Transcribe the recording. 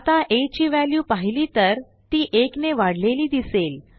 आता आ ची व्हॅल्यू पाहिली तर ती 1 ने वाढलेली दिसेल